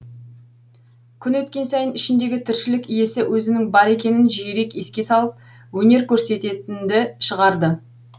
күн өткен сайын ішіндегі тіршілік иесі өзінің бар екенін жиірек еске салып өнер көрсететінді шығарды